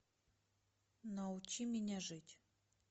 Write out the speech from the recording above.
научи меня жить